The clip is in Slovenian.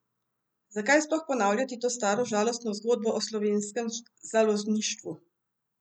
Zakaj sploh ponavljati to staro žalostno zgodbo o slovenskem založništvu?